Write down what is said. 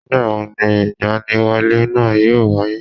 Nìgbàwo ni ìgbaniwọlé náà yóò wáyé